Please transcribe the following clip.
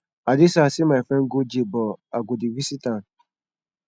i dey sad say my friend go jail but i go dey visit am